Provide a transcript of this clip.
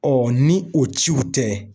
ni o ciw tɛ